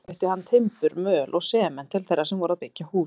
Einnig flutti hann timbur, möl og sement til þeirra sem voru að byggja hús.